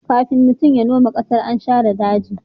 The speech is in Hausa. kafin mutum ya noma ƙasar, an share daji